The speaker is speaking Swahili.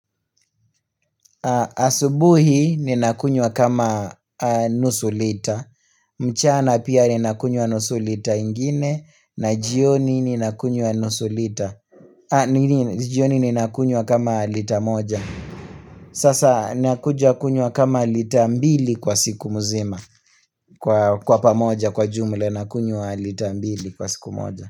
Asubuhi ninakunywa kama nusu lita mchana pia ninakunywa nusu lita ingine na jioni ninakunywa nusu lita jioni ninakunywa kama lita moja Sasa ninakuja kunywa kama lita mbili kwa siku mzima Kwa pamoja kwa jumla nakunywa lita ambili kwa siku moja.